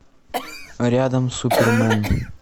рядом супермен